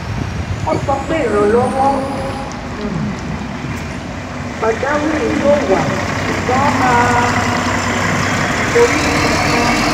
wọ́n sọ pé ìrànlọ́wọ́ um pajawiri yóò wá ṣùgbọ́n a um kò rí nkankan